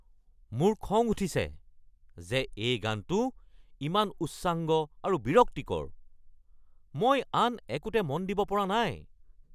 মোৰ খং উঠিছে যে এই গানটো ইমান উচ্চাংগ আৰু বিৰক্তিকৰ । মই আন একোতে মন দিব পৰা নাই।